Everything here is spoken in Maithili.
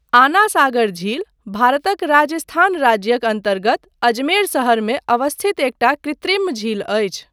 आना सागर झील भारतक राजस्थान राज्यक अन्तर्गत अजमेर शहरमे अवस्थित एकटा कृत्रिम झील अछि।